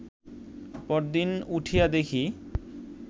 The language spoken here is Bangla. পরদিন উঠিয়া দেখি